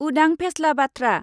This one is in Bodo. उदां फेस्ला बाथ्रा।